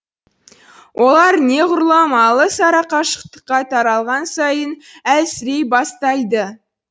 олар неғұрлым алыс арақашықтыққа таралған сайын әлсірей бастайды